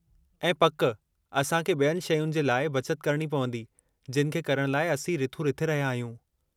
ऐं पकि, असां खे ॿियनि शैयुनि जे लाइ बचत करणी पवंदी जिनि खे करणु लाइ असीं रिथूं रिथे रहिया आहियूं।